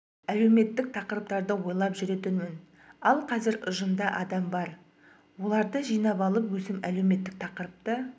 әлеуметтік тақырыптарды ойлап жүретінмін ал қазір ұжымда адам бар оларды жинап алып өзім әлеуметтік тақырыпта